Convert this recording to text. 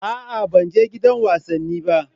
A'a ban je gidan wasanni ba.